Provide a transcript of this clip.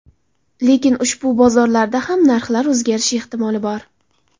Lekin ushbu bozorlarda ham narxlar o‘zgarishi ehtimoli bor.